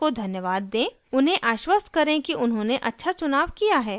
खरीददार को धन्यवाद देंउन्हें आश्वस्त करें कि उन्होंने अच्छा चुनाव किया है